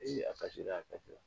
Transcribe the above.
a kasira a kasira.